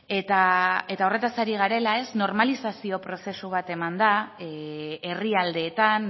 eta horretaz ari garela normalizazio prozesu bat eman da herrialdeetan